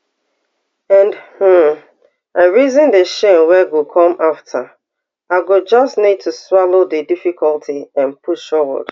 and um i reason di shame wey go come afta i go just need to swallow di difficulty and push forward